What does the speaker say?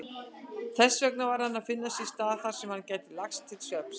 Þessvegna varð hann að finna sér stað þarsem hann gæti lagst til svefns.